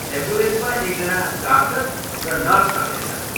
एम्बुलेन्समा एकजना डाक्टर र नर्स रहनेछन्।